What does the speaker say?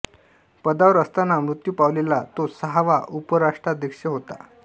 पदावर असतान मृत्यू पावलेला तो सहावा उपराष्ट्राध्यक्ष होता